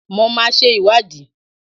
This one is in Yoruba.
Mo máa ṣe ìwádìí